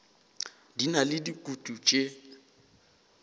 di na le dikutu tše